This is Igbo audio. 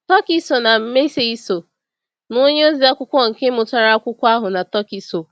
Túkìsò na Màséisò na onye oziakwụkwọ nke mụtara akwụkwọ ahụ na Túkìsò.